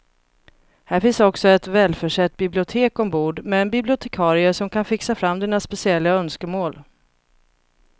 Här finns också ett välförsett bibliotek ombord med en bibliotekarie som kan fixa fram dina speciella önskemål.